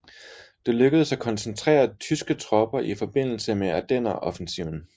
Det lykkedes at koncentrere tyske tropper i forbindelse med Ardenneroffensiven